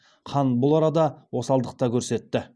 хан бұл арада осалдық та көрсетті